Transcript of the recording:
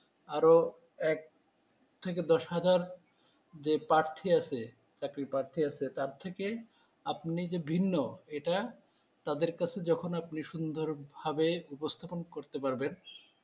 আরো এক থেকে দশ হাজার যে প্রার্থী আছে চাকরির প্রার্থী আছে তার থেকে আপনি যে ভিন্ন এটা তাদের কাছে যখন আপনি সুন্দর ভাবে উপস্থাপন করতে পারবেন ।